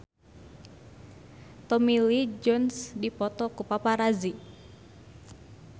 Tommy Lee Jones dipoto ku paparazi